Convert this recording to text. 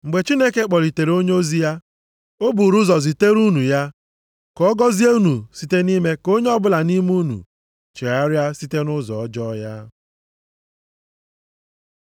Mgbe Chineke kpọlitere onyeozi ya, o buuru ụzọ zitere unu ya, ka ọ gọzie unu site nʼime ka onye ọbụla nʼime unu chegharịa site nʼụzọ ọjọọ ya.”